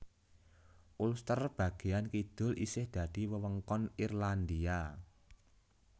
Ulster bagéyan kidul isih dadi wewengkon Irlandia